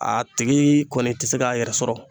A tigi kɔni ti se k'a yɛrɛ sɔrɔ